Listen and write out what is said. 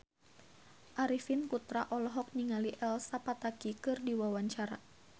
Arifin Putra olohok ningali Elsa Pataky keur diwawancara